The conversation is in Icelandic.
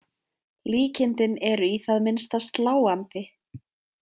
Líkindin eru í það minnsta sláandi.